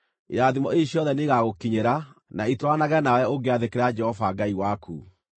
Irathimo ici ciothe nĩ igagũkinyĩra na itwaranage nawe ũngĩathĩkĩra Jehova Ngai waku: